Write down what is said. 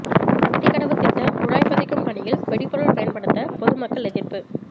அத்திக்கடவு திட்ட குழாய் பதிக்கும் பணியில் வெடிபொருள் பயன்படுத்த பொதுமக்கள் எதிா்ப்பு